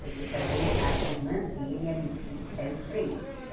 Porque também a as irmãs dele eram eram três.